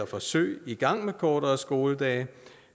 forsøg i gang med kortere skoledage